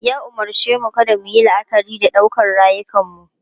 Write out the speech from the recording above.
Ya umarce mu kada mu yi la'akari da ɗaukar rayukanmu.